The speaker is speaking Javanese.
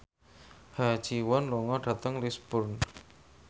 Ha Ji Won lunga dhateng Lisburn